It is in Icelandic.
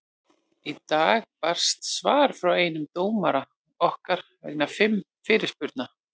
Í dag barst svar frá einum dómara okkar vegna fimm fyrirspurna.